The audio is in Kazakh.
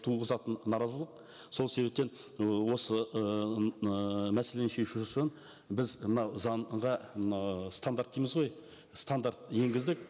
туғызатын наразылық сол себептен ы осы ыыы мәселені шешу үшін біз мынау заңға мына стандарт дейміз ғой стандарт енгіздік